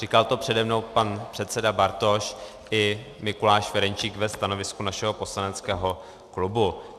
Říkal to přede mnou pan předseda Bartoš i Mikuláš Ferjenčík ve stanovisku našeho poslaneckého klubu.